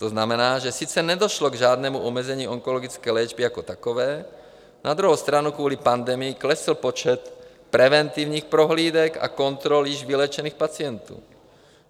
To znamená, že sice nedošlo k žádnému omezení onkologické léčby jako takové, na druhou stranu kvůli pandemii klesl počet preventivních prohlídek a kontrol již vyléčených pacientů.